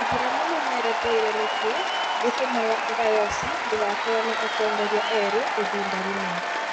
aithĩramu nĩmeretheire nĩkĩĩ gĩtũmaga dayosi ndĩgakorwo na atongoria eerĩ ihinda rĩmwe